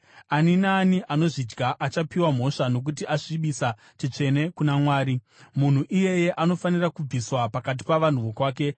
Ani naani anozvidya achapiwa mhosva nokuti asvibisa chitsvene kuna Mwari; munhu iyeye anofanira kubviswa pakati pavanhu vokwake.